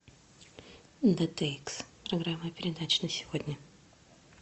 дтикс программа передач на сегодня